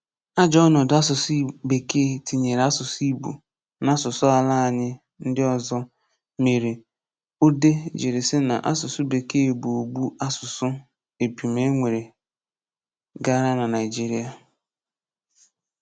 Ajọ ọnọdụ asụsụ Bekee tinyere asụsụ Igbo na asụsụ ala anyị ndị ọzọ mere Odeh jiri sị na asụsụ Bekee bụ ogbu asụsụ e pụm e nwe gara na Naịjiria.